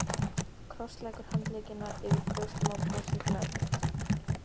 Krossleggur handleggina yfir brjóstunum og brosir glaðbeitt.